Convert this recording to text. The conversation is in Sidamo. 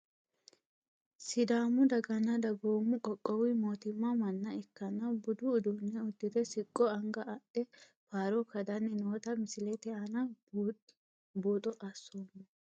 Sedaamu daganna dagoomo qoqowu mootimma mana ikanna buddu uduune udire siqqo angga adhe faaro kadani noota misilete aana buuxo asoomo.